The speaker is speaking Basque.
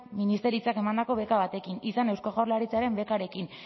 ministeritzak emandako beka batekin izan eusko jaurlaritzaren bekarekin